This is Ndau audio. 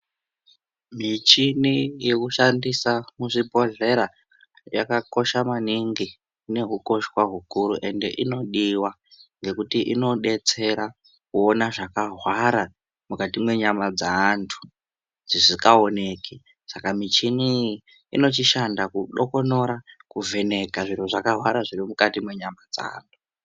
Michini yekushandisa muzvibhedhlera, yakakosha maningi ine hukoshwa hukuru ende inodiwa, ngekuti inobetsera kuona zvakahwara mukati menyama dzaantu, dzisikaoneki. Saka michini iyi inochishanda kudokonora, kuvheneka zviro zvakahwara zviri mukati mwenyama dzaanhu.